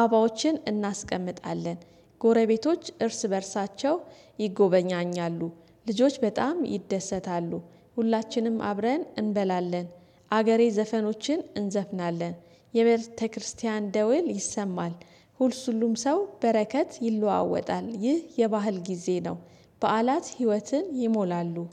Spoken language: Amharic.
አባዎችን እናስቀምጣለን። ጎረቤቶች እርስ በእርሳቸው ይጎበኛኛሉ። ልጆች በጣም ይደሰታሉ። ሁላችንም አብረን እንበላለን። አገሬ ዘፈኖችን እንዘፍናለን። የቤተክርስቲያን ደወል ይሰማል። ሁሉም ሰው በረከት ይለዋወጣል ይህ የባህል ጊዜ ነው። በዓላት ህይወትን ይሞላሉ